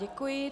Děkuji.